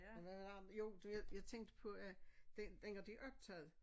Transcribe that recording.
Hvad har jo du ved jeg tænkte på at den dengang de optagede